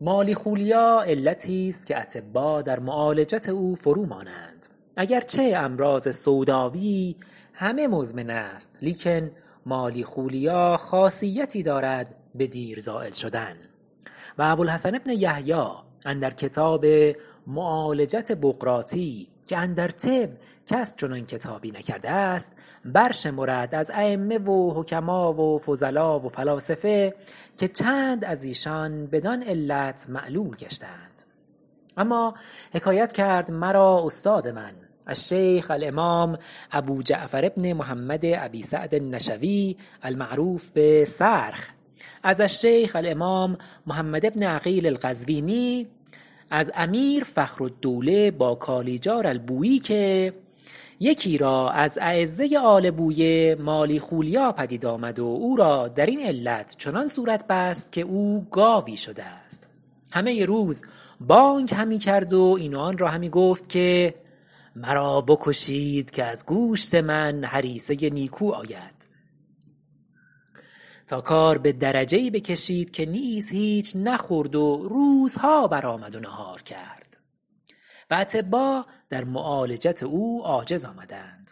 مالیخولیا علتی است که اطبا در معالجت او فرو مانند اگر چه امراض سوداوی همه مزمن است لیکن مالیخولیا خاصیتی دارد به دیر زایل شدن و ابوالحسن بن یحیی اندر کتاب معالجت بقراطی که اندر طب کس چنان کتابی نکرده است بر شمرد از ایمه و حکما و فضلا و فلاسفه که چند از ایشان بدان علت معلول گشته اند اما حکایت کرد مرا استاد من الشیخ الامام ابوجعفر بن محمد ابی سعد المعروف به صرخ از الشیخ الامام محمد بن عقیل القزوینی از امیر فخر الدوله باکالیجار البویی که یکی را از اعزه آل بویه مالیخولیا پدید آمد و او را در این علت چنان صورت بست که او گاوی شده است همه روز بانگ همی کرد و این و آن را همی گفت که مرا بکشید که از گوشت من هریسه نیکو آید تا کار به درجه ای بکشید که نیز هیچ نخورد و روزها بر آمد و نهار کرد و اطبا در معالجت او عاجز آمدند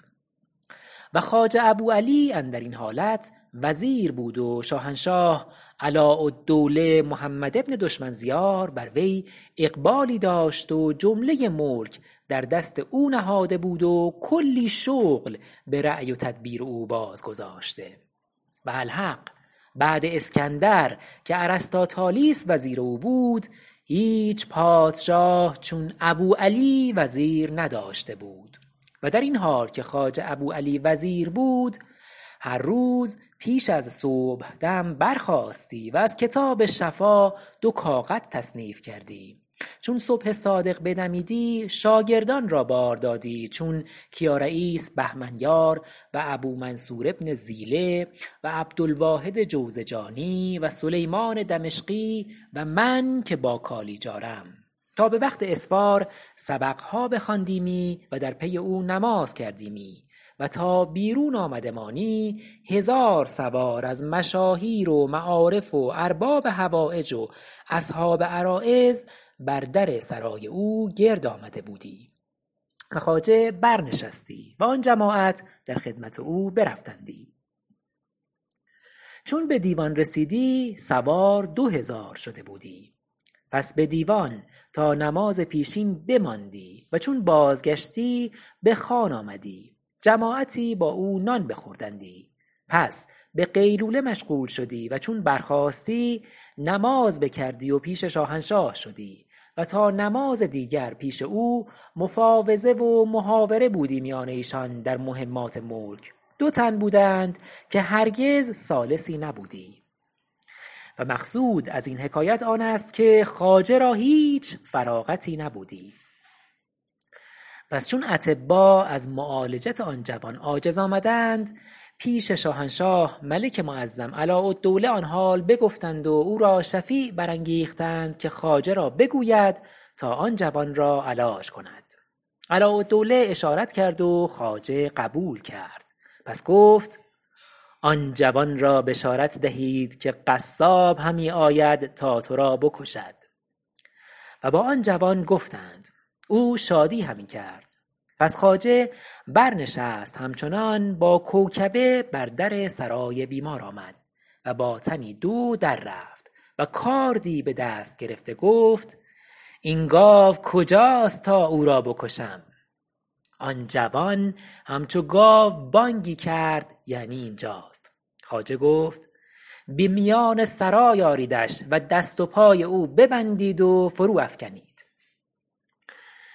و خواجه ابوعلى اندر این حالت وزیر بود و شاهنشاه علاء الدوله محمد بن دشمنزیار بر وی اقبالی داشت و جمله ملک در دست او نهاده بود و کلی شغل به رأی و تدبیر او باز گذاشته و الحق بعد اسکندر که ارسطاطالیس وزیر او بود هیچ پادشاه چون ابوعلی وزیر نداشته بود و در این حال که خواجه ابو علی وزیر بود هر روز پیش از صبحدم برخاستی و از کتاب شفا دو کاغذ تصنیف کردی چون صبح صادق بدمیدی شاگردان را بار دادی چون کیا رییس بهمنیار و ابو منصور بن زیلة و عبد الواحد جوزجانی و سلیمان دمشقی و من که باکالیجارم تا به وقت اسفار سبقها بخواندیمی و در پی او نماز کردیمی و تا بیرون آمدمانی هزار سوار از مشاهیر و معارف و ارباب حوایج و اصحاب عرایض بر در سرای او گرد آمده بودی و خواجه برنشستی و آن جماعت در خدمت او برفتندی چون به دیوان رسیدی سوار دو هزار شده بودی پس به دیوان تا نماز پیشین بماندی و چون بازگشتی به خوان آمدی جماعتی با او نان بخوردندی پس به قیلوله مشغول شدی و چون برخاستی نماز بکردی و پیش شاهنشاه شدی و تا نماز دیگر پیش او مفاوضه و محاوره بودی میان ایشان در مهمات ملک دو تن بودند که هرگز ثالثی نبودی و مقصود ازین حکایت آن است که خواجه را هیچ فراغتی نبودی پس چون اطبا از معالجت آن جوان عاجز آمدند پیش شاهنشاه ملک معظم علاء الدوله آن حال بگفتند و او را شفیع برانگیختند که خواجه را بگوید تا آن جوان را علاج کند علاء الدوله اشارت کرد و خواجه قبول کرد پس گفت آن جوان را بشارت دهید که قصاب همی آید تا ترا بکشد و با آن جوان گفتند او شادی همی کرد پس خواجه بر نشست همچنان با کوکبه بر در سرای بیمار آمد و با تنی دو در رفت و کاردی به دست گرفته گفت این گاو کجاست تا او را بکشم آن جوان همچو گاو بانگی کرد یعنی اینجاست خواجه گفت به میان سرای آریدش و دست و پای او ببندید و فرو افکنید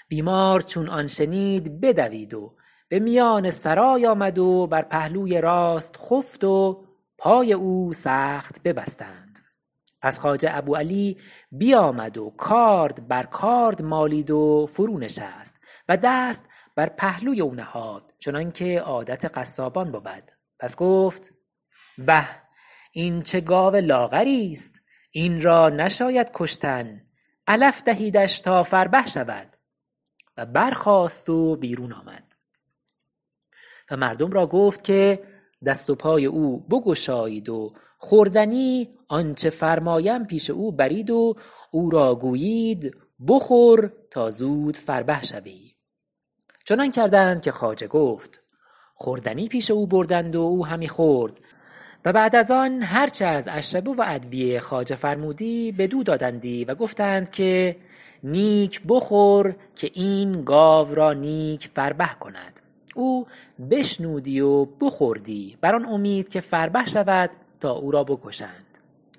بیمار چون آن شنید بدوید و به میان سرای آمد و بر پهلوی راست خفت و پای او سخت ببستند پس خواجه ابو علی بیامد و کارد بر کارد مالید و فرو نشست و دست بر پهلوی او نهاد چنانکه عادت قصابان بود پس گفت وه این چه گاو لاغری است این را نشاید کشتن علف دهیدش تا فربه شود و برخاست و بیرون آمد و مردم را گفت که دست و پای او بگشایید و خوردنی آنچه فرمایم پیش او برید و او را گویید بخور تا زود فربه شوی چنان کردند که خواجه گفت خوردنی پیش او بردند و او همی خورد و بعد از آن هرچه از اشربه و ادویه خواجه فرمودی بدو دادندی و گفتند که نیک بخور که این گاو را نیک فربه کند او بشنودی و بخوردی بر آن امید که فربه شود تا اورا بکشند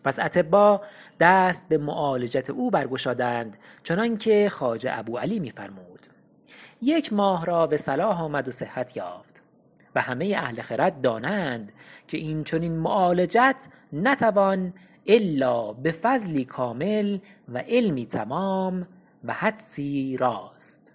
پس اطبا دست به معالجت او بر گشادند چنان که خواجه ابوعلی می فرمود یک ماه را بصلاح آمد و صحت یافت و همه اهل خرد دانند که این چنین معالجت نتوان الا به فضلی کامل و علمی تمام و حدسی راست